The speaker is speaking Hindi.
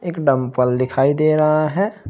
एक डम्पल दिखाई दे रहा है।